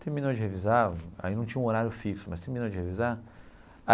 Terminou de revisar, aí não tinha um horário fixo, mas terminou de revisar.